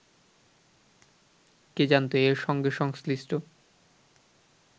কে জানত এর সঙ্গে সংশ্লিষ্ট